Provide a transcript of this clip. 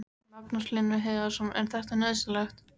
Magnús Hlynur Hreiðarsson: Er þetta nauðsynlegt?